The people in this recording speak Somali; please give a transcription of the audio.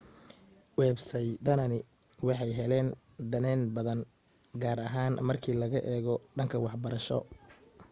websaydadani waxay heleen danayn badan gaar ahaan marka laga eego dhanka waxbarasho